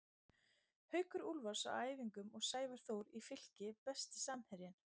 Haukur Úlfars á æfingum og Sævar Þór í Fylki Besti samherjinn?